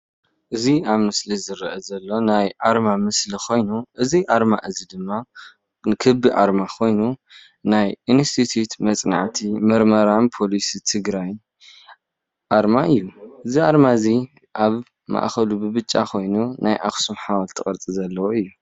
እዚ ኣብ ምስሊ ዝረኣ ዘሎ ናይ ኣርማ ምስሊ ኮይኑ እዚ ኣርማ እዚ ድማ ክቢ ኣርማ ኮይኑ ናይ እንስቲቱ መፅናዕቲን ምረመራን ፖሊሲ ትግራይ ኣርማ እዩ። እዚ ኣርማ እዚ ኣብ ማዕከሉ ብጫ ኮይኑ ናይ ኣክሱም ሓወልቲ ቅርፂ ዘለዎ እዩ።